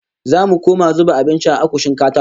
Zamu koma zuba abinci a akushin katako